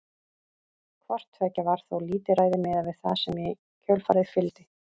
Hvort tveggja var þó lítilræði miðað við það sem í kjölfarið fylgdi.